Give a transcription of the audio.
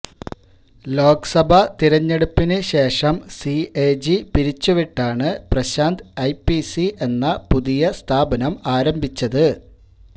ലോക്സഭ തിരഞ്ഞെടുപ്പിന് ശേഷം സിഎജി പിരിച്ചുവിട്ടാണ് പ്രശാന്ത് ഐപിഎസി എന്ന പുതിയ സ്ഥാപനം ആരംഭിച്ചത്